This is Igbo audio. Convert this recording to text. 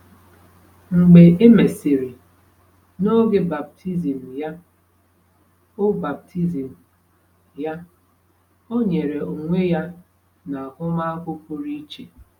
Mgbe emesịrị, n’oge baptizim ya, o baptizim ya, o nyere onwe ya n’ahụmahụ pụrụ iche.